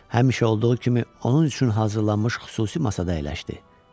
Həmişə olduğu kimi onun üçün hazırlanmış xüsusi masada əyləşdi.